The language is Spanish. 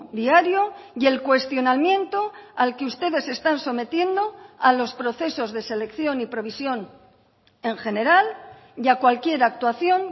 diario y el cuestionamiento al que ustedes están sometiendo a los procesos de selección y provisión en general y a cualquier actuación